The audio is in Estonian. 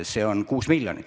See on 6 miljonit.